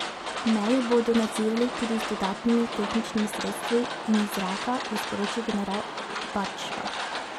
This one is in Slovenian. Mejo bodo nadzirali tudi z dodatnimi tehničnimi sredstvi in iz zraka, je sporočil general Badžva.